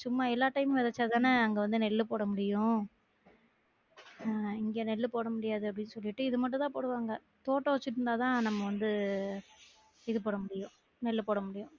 சும்மா எல்லாத்தையும் விதச்சா தான அங்க வந்து நெல்லு போட முடியும் அஹ் இங்க நெல்லு போட முடியாது அப்படி சொல்லிட்டு இத மட்டும் தான் போடுவாங்க போட்டு வச்சு இருந்தாதான் நம்ம வந்து இது போட முடியும் நெல்லுபோட முடியும்